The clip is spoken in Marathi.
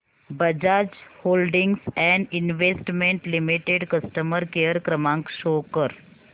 Bajaj holdings and investment limited customer care क्रमांक शो कर